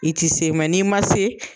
I ti se n'i ma se